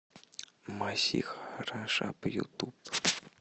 масих араш ап ютуб